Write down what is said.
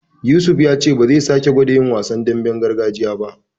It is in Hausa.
Yusuf ya ce ba zai sake gwada yin wasan damben gargajiya ba.